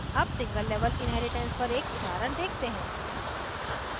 अब single level inheritance पर एक उदाहरण देखते हैं